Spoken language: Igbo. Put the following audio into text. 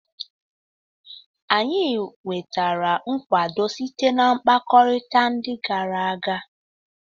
Anyị nwetara nkwado site na mkpakọrịta ndị gara aga.